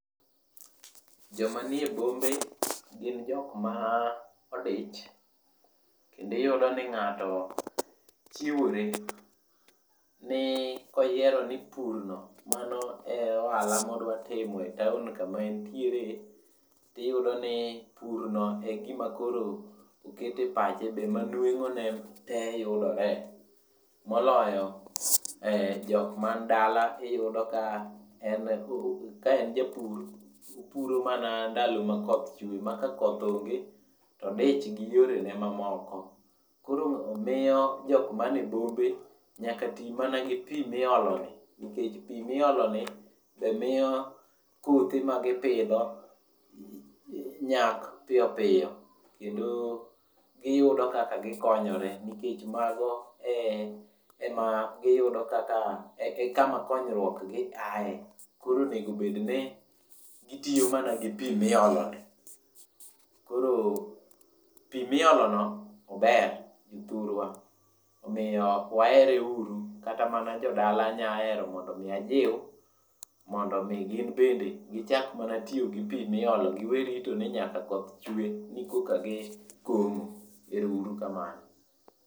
Joma nie bombe, gin jokma odich. Kendo iyudo ni ngáto chiwore ni koyero ni purno mano e ohala modwa timo e town kama en tiere, tiyudo ni purno e gima koro okete pache, be ema nwengóne tee yudore. Moloyo jokma ni dala iyudo ka ka en japur, to opuro mana ndalo ma koth chwe, ma kakoth onge to odich gi yorene mamoko. Koro miyo jok mane bombe, nyaka tii mana gi pii miolo ni, nikech pii mioloni be miyo puothe ma gipidho nyak piyopiyo, kendo giyudo kaka gikonyore, nikech mago e ema giyudo kaka e kama konyruokgi ae. Koro onego bedni gitiyo mana gi pii mioloni. Koro pii miolono ober jothurwa, omiyo wahere uru. Kata mana jodala anyahero mondo omi ajiu mondo omi gin bende gichak mana tiyo gi pii miolo. Giwe rito ni nyaka koth chwe ni koka gikomo. Erouru kamano.